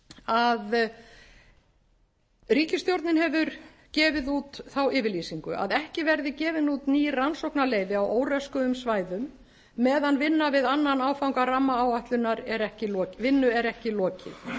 að ríkisstjórnin hefur gefið út þá yfirlýsingu að ekki verði gefin út ný rannsóknarleyfi á óröskuðum svæðum meðan vinnu við annan áfanga rammaáætlunar er ekki verið lokið